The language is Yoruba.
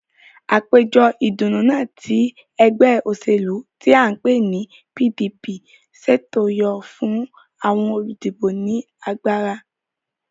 Àpéjọ ìdùnnú náà tí ẹgbẹ́ òṣèlú tí à ń pè ní PDP ṣètò yóò fún àwọn olùdìbò ní agbára